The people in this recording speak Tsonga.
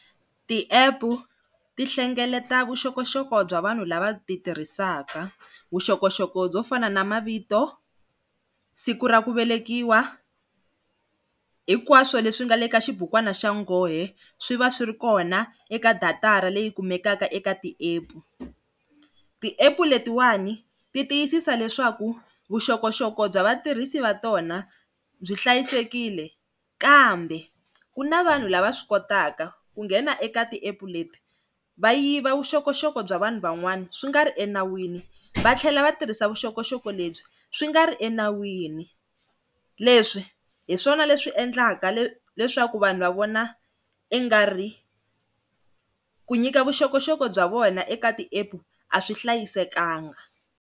Ti app ti hlengeleta vuxokoxoko bya vanhu lava ti tirhisaka vuxokoxoko byo fana na mavito, siku ra ku velekiwa hinkwaswo leswi nga le ka xibukwana xa nghohe swi va swi ri kona eka data-ra leyi kumekaka eka ti app ti app letiwani ti tiyisisa leswaku vuxokoxoko bya vatirhisi va tona byi hlayisekile kambe ku na vanhu lava swi kotaka ku nghena eka ti app leti va yiva vuxokoxoko bya vanhu van'wana swi nga ri enawini va tlhela va tirhisa vuxokoxoko lebyi swi nga ri enawini leswi hi swona leswi endlaka leswaku vanhu va vona i nga ri ku nyika vuxokoxoko bya vona eka ti app a swi hlayisekanga.